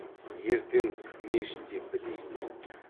ертең мешіт те бітейін деп тұр